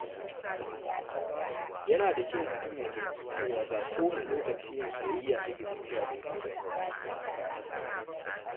Yana da kyau mutum ya fahimci cewa ba kowane lokaci ne soyayya ke tafiya daidai ba.